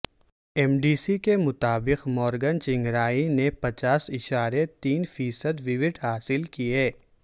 M D C کے مطابق Morgan Tsvangirai نے پچاس اعشاریہ تین فیصد ووٹ حاصل کیے